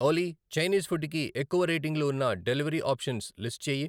ఓలి, Chinese food కి ఎక్కువ రేటింగ్లు ఉన్న డెలివరీ ఆప్షన్స్ లిస్ట్ చెయ్యి.